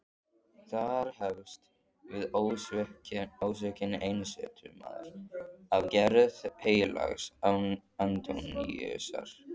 Þar hefst við ósvikinn einsetumaður af gerð heilags Antóníusar.